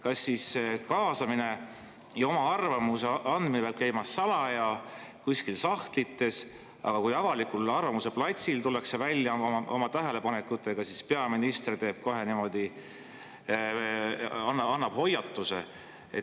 Kas siis kaasamine ja oma arvamuse andmine peab käima salaja kuskil sahtlites, aga kui avalikul arvamuseplatsil tullakse välja oma tähelepanekutega, siis peaminister kohe annab hoiatuse?